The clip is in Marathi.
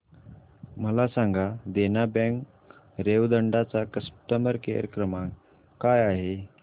मला सांगा देना बँक रेवदंडा चा कस्टमर केअर क्रमांक काय आहे